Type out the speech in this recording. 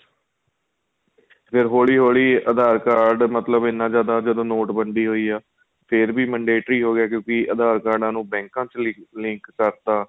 ਫ਼ੇਰ ਹੋਲੀਂ ਹੋਲੀਂ aadhar card ਮਤਲਬ ਇਹਨਾ ਜਿਆਦਾ ਜਦੋਂ ਨੋਟਬੰਦੀ ਹੋਈ ਏ ਫ਼ੇਰ ਵੀ ਹੋ ਗਿਆ ਕਿਉਂਕਿ aadhar ਕਾਡਾ ਨੂੰ ਬੈੰਕਾਂ ਵਿੱਚ link ਕਰਤਾ